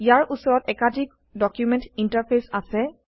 ইয়াৰ উচৰত একাধিক document interface আছে